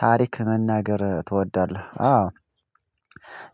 ታሪክ መናገር ትወዳለህ? አዎ